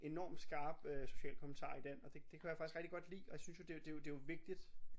Enorm skarp social kommentar i den og det det kunne jeg faktisk rigtig godt lide og jeg synes jo det jo det jo det jo vigtigt